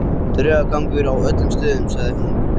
Draugagangur á öllum stöðunum, sagði hún.